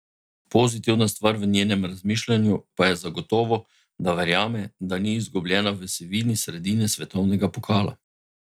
Pozitivna stvar v njenem razmišljanju pa je zagotovo, da verjame, da ni izgubljena v sivini sredine svetovnega pokala.